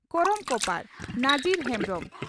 ᱠᱚᱨᱚᱢ ᱠᱚᱯᱟᱲ (ᱱᱟᱡᱤᱨ ᱦᱮᱢᱵᱽᱨᱚᱢ)